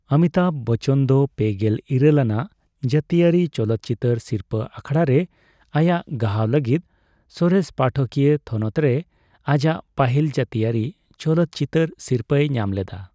ᱚᱢᱤᱛᱟᱵᱷ ᱵᱚᱪᱪᱚᱱ ᱫᱚ ᱯᱮᱜᱮᱞ ᱤᱨᱟᱹᱞ ᱟᱱᱟᱜ ᱡᱟᱹᱛᱤᱭᱟᱹᱨᱤ ᱪᱚᱞᱚᱛᱪᱤᱛᱟᱹᱨ ᱥᱤᱨᱯᱟᱹ ᱟᱠᱷᱲᱟᱨᱮ ᱟᱭᱟᱜ ᱜᱟᱦᱟᱣ ᱞᱟᱹᱜᱤᱫ ᱥᱚᱨᱮᱥ ᱯᱟᱴᱷᱚᱠᱤᱭᱟᱹ ᱛᱷᱚᱱᱚᱛ ᱨᱮ ᱟᱡᱟᱜ ᱯᱟᱹᱦᱤᱞ ᱡᱟᱹᱛᱤᱭᱟᱹᱨᱤ ᱪᱚᱞᱚᱛᱪᱤᱛᱟᱹᱨ ᱥᱤᱨᱯᱟᱹᱭ ᱧᱟᱢ ᱞᱮᱫᱟ ᱾